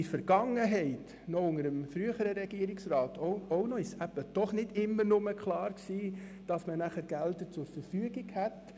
In der Vergangenheit, unter dem früheren Gesundheitsdirektor, war es nicht immer klar, dass man Mittel zur Verfügung hatte.